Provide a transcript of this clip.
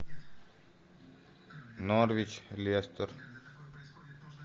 норвич лестер